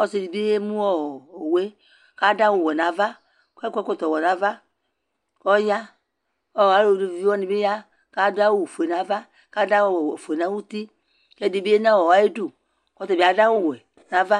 ɔsii dibi yɛmʋɔ ɔwʋɛ kʋ adʋ awʋ wɛ nʋ aɣa kʋ akɔ ɛkɔtɔ wɛ nʋ aɣa kʋ ɔya kʋ alʋvi wani bi ya kʋ adʋ awʋ ƒʋɛ nʋ aɣa kʋ adʋ awʋ ƒʋɛ nʋ ʋti kʋ ɛdibi yanʋ ayidʋ kʋ ɔtabi adʋ awʋ wɛ nʋ aɣa